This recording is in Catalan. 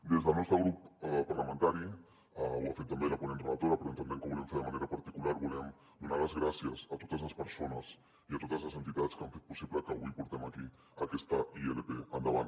des del nostre grup parlamentari ho ha fet també la ponent relatora però entenem que ho volem fer de manera particular volem donar les gràcies a totes les persones i a totes les entitats que han fet possible que avui portem aquí aquesta ilp endavant